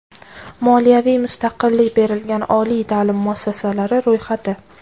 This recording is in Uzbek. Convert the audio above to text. Moliyaviy mustaqillik berilgan oliy ta’lim muassasalari ro‘yxati.